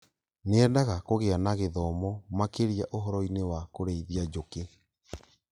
Nĩendaga kũgĩa na gĩthomo makĩria ũhoroinĩ wa kũrĩithia njũkĩ